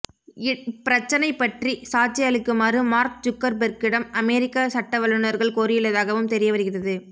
இப்பிரச்சனை பற்றி சாட்சி அளிக்குமாறு மார்க் ஜுக்கர்பெர்க்கிடம் அமெரிக்க சட்டவல்லுனர்கள் கோரியுள்ளதாகவும் தெரிய வருகிறது